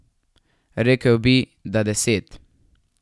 Rekel bi, da deset.